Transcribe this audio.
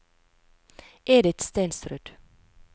Edith Stensrud